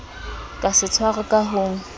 ka se tshwarwe ka ho